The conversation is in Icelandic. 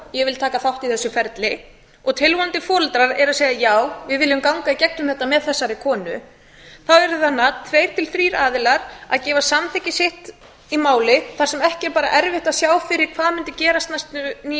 ég vil taka þátt í þessu ferli og tilvonandi foreldrar eru að segja já við viljum ganga í gegnum þetta með þessari konu þá yrðu tveir til þrír aðilar að gefa samþykki sitt í máli þar sem ekki er bara erfitt að sjá fyrir hvað mundi gerast næstu níu